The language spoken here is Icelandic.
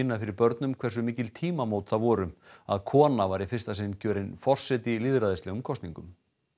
fyrir börnum hversu mikil tímamót það voru að kona var í fyrsta sinn kjörin forseti í lýðræðislegum kosningum